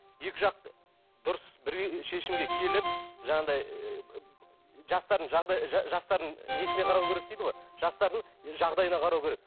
екі жақ дұрыс бір шешімге келіп жаңағыдай жастардың жастардың несіне қарау керек дейді ғой жастардың жағдайына қарау керек